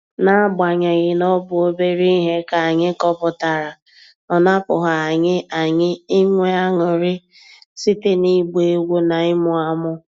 N'agbanyeghị na ọ bụ obere ihe ka anyị kọpụtara, ọ napụghị anyị anyị inwe aṅụrị site n'ịgba egwu na ịmụ amụ.